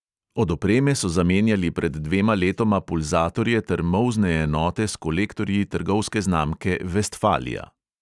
Od opreme so zamenjali pred dvema letoma pulzatorje ter molzne enote s kolektorji trgovske znamke vestfalia.